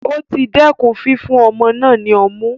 O ti dẹkùn fífún ọmọ náà ní ọmu